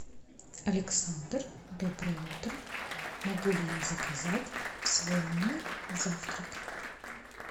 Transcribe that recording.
александр доброе утро могу ли я заказать в свой номер завтрак